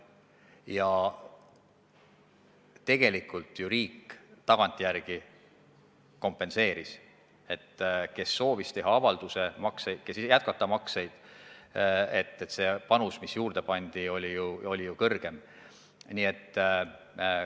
Ja tegelikult ju riik tagantjärele selle kompenseeris: kui tehti avaldus makseid jätkata, siis see panus, mis juurde pandi, oli ju suurem.